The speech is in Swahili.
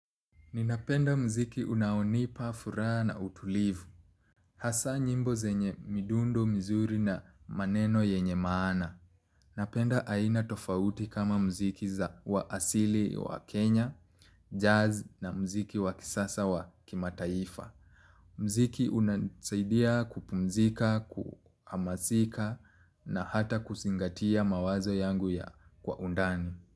Ninapenda muziki unaonipa furaha na utulivu. Hasa nyimbo zenye midundo, mizuri na maneno yenye maana. Napenda aina tofauti kama muziki za wa asili wa Kenya, jazz na muziki wa kisasa wa kimataifa. Muziki unasaidia kupumzika, kuhamasika na hata kuzingatia mawazo yangu ya kwa undani.